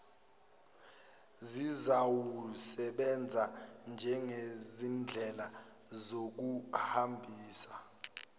zizawusebenza njengezindlela zokuhambisa